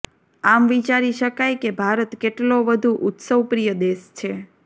આમ વિચારી શકાય કે ભારત કેટલો વધુ ઉત્સવપ્રિય દેશ છે